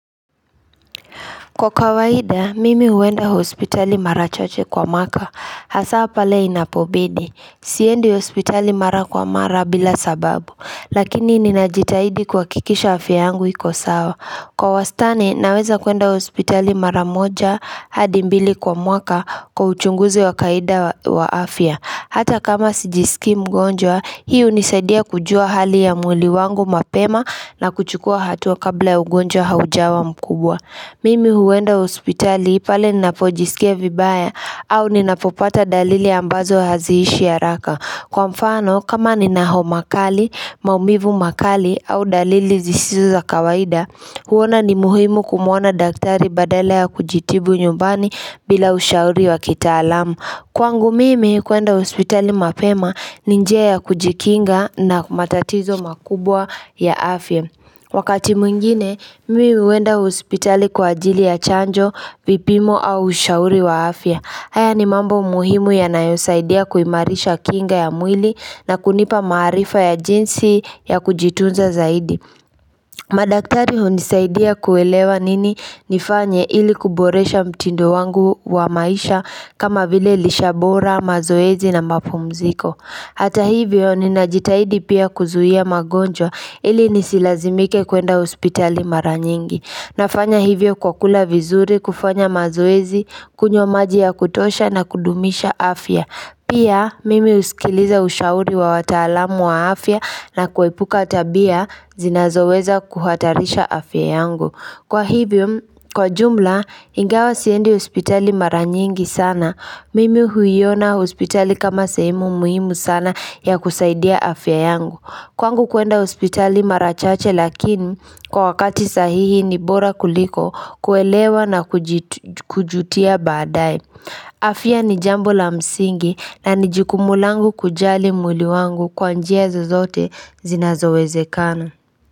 Kwa kawaida, mimi uenda hospitali mara chache kwa mwaka. Hasaa pale inapobidi. Siendi hospitali mara kwa mara bila sababu. Lakini ninajitahidi kuakikisha afya yangu iko sawa. Kwa wastani, naweza kuenda hospitali mara moja hadi mbili kwa mwaka kwa uchunguzi wa kaida wa afya. Hata kama sijisiki mgonjwa, hii unisaidia kujua hali ya mwili wangu mapema na kuchukua hatua kabla ya ugonjwa haujawa mkubwa. Mimi huenda hospitali ipale ninapojisikia vibaya au ninapopata dalili ambazo haziishi haraka. Kwa mfano, kama nina homa kali, maumivu makali au dalili zisizo za kawaida, huona ni muhimu kumuona daktari badala ya kujitibu nyumbani bila ushauri wa kitaalam. Kwangu mimi, kuenda hospitali mapema ni njia ya kujikinga na matatizo makubwa ya afya. Wakati mwngine, mimi uenda hospitali kwa ajili ya chanjo, vipimo au ushauri wa afya. Haya ni mambo muhimu yanayosaidia kuimarisha kinga ya mwili na kunipa maarifa ya jinsi ya kujitunza zaidi. Madaktari undisaidia kuelewa nini nifanye ili kuboresha mtindo wangu wa maisha kama vile lisha bora, mazoezi na mapumziko. Hata hivyo ninajitahidi pia kuzuia magonjwa ili nisilazimike kuenda hospitali mara nyingi. Nafanya hivyo kwa kula vizuri, kufanya mazoezi, kunywa maji ya kutosha na kudumisha afya. Pia mimi uskiliza ushauri wa wataalamu wa afya na kwepuka tabia zinazoweza kuhatarisha afya yangu. Kwa hivyo, kwa jumla, ingawa siendi hospitali mara nyingi sana Mimi huiona hospitali kama sehemu muhimu sana ya kusaidia afya yangu Kwangu kuenda hospitali mara chache lakini kwa wakati sahihi ni bora kuliko kuelewa na kujutia baadae afya ni jambo la msingi na ni jukumu langu kujali mwili wangu kwa njia zozote zinazowezekana.